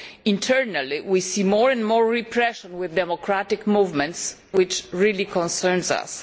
Internally we see more and more repression of democratic movements, and that really concerns us.